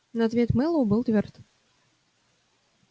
но ответ мэллоу был твёрд